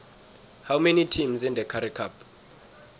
how many teams in the currie cup